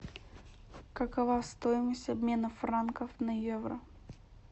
какова стоимость обмена франков на евро